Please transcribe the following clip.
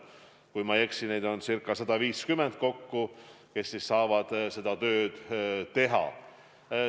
Kui ma ei eksi, neid on kokku umbes 150, kes saavad seda tööd teha.